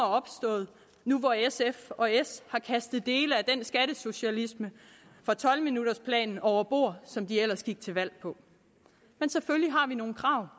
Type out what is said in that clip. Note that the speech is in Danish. opstået nu hvor sf og s har kastet dele af den skattesocialisme fra tolv minutters planen over bord som de ellers gik til valg på men selvfølgelig har vi nogle krav